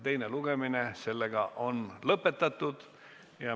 Teine lugemine on lõppenud.